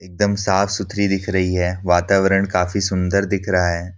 एक दम साफ सुथरी दिख रही है। वातावरण काफी सुन्दर दिख रहा है।